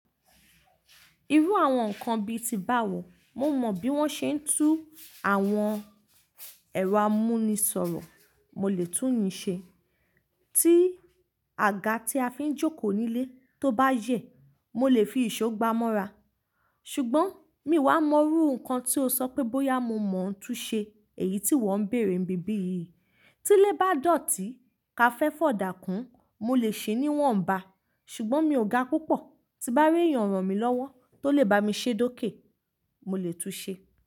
Irú àwọn nǹkan bi ti bá wọ̀, mo mọ̀ bí wón ṣe ń tú àwọn ẹ̀rọ amúnisọ̀rọ̀, mo lè tún mi ṣe. Tí àga tí a fi ń jókòó nílé tó bá yẹ̀, mo lè fi ìṣó gbá á mọ́ra. Ṣùgbọ́n, mi wá mọ irú nǹkan tí o sọ pé bóyá mo mọ̀ ọ́ tún ṣe èyí tí wọ́ ń bèèrè n bí bí yìí. Tí ilé bá dọ̀tí ka fẹ́ fi ọ̀dá kún, mo lè ṣe é ní iwọ́nbá. Ṣùgbọ́n mi ò ga púpọ̀, tí bá rí èèyàn ràn mí lọ́wọ́ tó lè bá mi ṣe de ókè, mo lè tún ṣe.